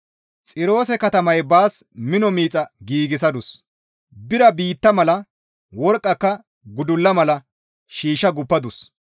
Xiroose katamaya baas mino miixa giigsadus; bira biitta mala, worqqaka gudulla mala shiishsha guuppadus.